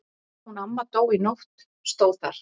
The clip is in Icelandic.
Hún amma dó í nótt stóð þar.